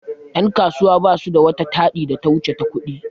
Yan' kasuwa basu da wata taɗi da ta wuce ta ƙudi.